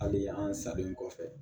Hali an salen kɔfɛ